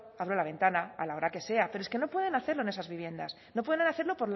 abro la ventana a la hora que sea pero es que no pueden hacerlo en esas viviendas no pueden hacerlo